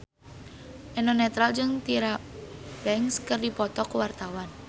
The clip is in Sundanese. Eno Netral jeung Tyra Banks keur dipoto ku wartawan